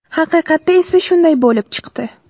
Haqiqatda esa shunday bo‘lib chiqdi.